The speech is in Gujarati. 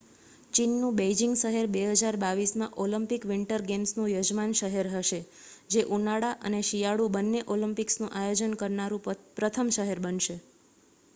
ચીનનું બેઇજિંગ શહેર 2022 માં ઓલિમ્પિક વિન્ટર ગેમ્સનું યજમાન શહેર હશે જે ઉનાળા અને શિયાળુ બંને ઓલિમ્પિક્સનું આયોજન કરનારું પ્રથમ શહેર બનશે